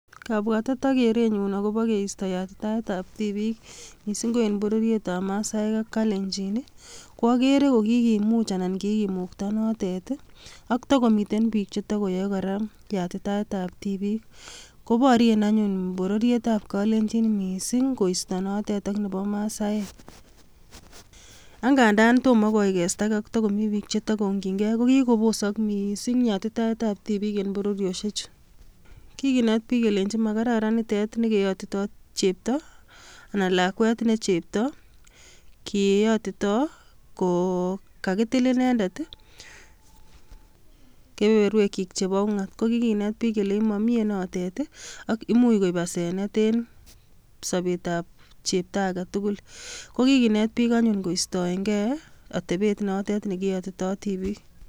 Kabwatet ak kerenyun akobo keisto yatitaetab tibiik mising' ko eng' bororiet masaek ak kalenjin ko akere ko kikomach anan kikimukta notet ak tikomiten biik chetikoyoei kora yatitaetab tibiik kobororien anyon bororiet kalenjin mising' koisto notet ak nebo masaek angandan tomo koekeatokei tikomi biik chetakoung'jingei kokikobosok mising' yatitaetab tibiik eng' bororioshechu kikinet biik kelenjin makararan nitet nekeyotitoi chepto anan lakwet ne chepto kiyotitoi ko kakitil inendet kepeperwek chik chebo ng'weny ko kikinet biik kelech mamie nototet ak muuch koib asenet en sobetab chepto age tugul kokikinet biik anyun koistoengei atepet notet nekeyotitoi tibiik